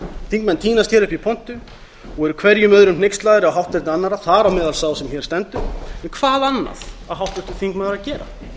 þingmenn tínast hér upp í pontu og eru hver öðrum hneykslaðri á hátterni annarra þar á meðal sá sem hér stendur en hvað annað á háttvirtur þingmaður að gera